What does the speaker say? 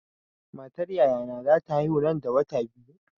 Matar yayana za ta haihu nan da wata biyu.